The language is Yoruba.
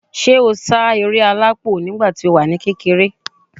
Ṣé o sáré alápò nígbà tí o wà ní kékeré?